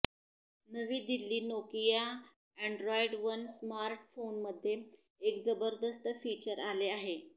नवी Delhi Nokia Android one स्मार्टफोमध्ये एक जबरदस्त फीचर आले आहे